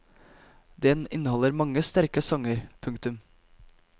Den inneholder mange sterke sanger. punktum